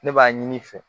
Ne b'a ɲini i fɛ